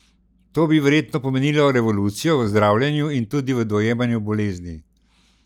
To bi verjetno pomenilo revolucijo v zdravljenju in tudi v dojemanju bolezni?